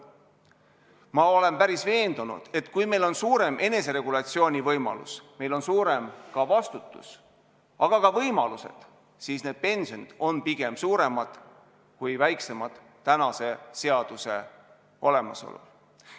Ma olen päris veendunud, et kui meil on suurem eneseregulatsiooni võimalus, on meil suurem ka vastutus, ja siis need pensionid on pigem suuremad kui väiksemad tänase seaduse olemasolul.